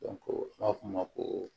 u b'a fɔ o ma ko